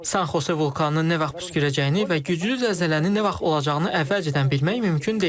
Sankhose vulkanının nə vaxt püskürəcəyini və güclü zəlzələnin nə vaxt olacağını əvvəlcədən bilmək mümkün deyil.